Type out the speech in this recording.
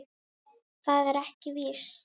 Það er ekki víst.